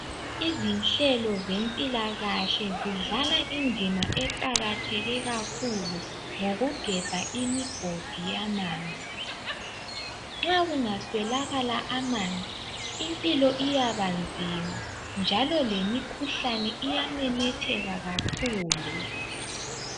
Izinhlelo zempilakahle zidlala indima eqakatheke kakhulu ngokugebha imigodi yamanzi. Nxa kungaswelakala amanzi impilo iyabanzima njalo lemikhuhlane iyamemetheka kakhulu.